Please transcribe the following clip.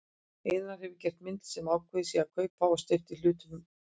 Einarsson hafi gert mynd sem ákveðið sé að kaupa og steypa í hlutum heima.